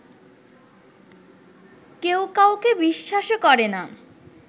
কেউ কাউকে বিশ্বাসও করে না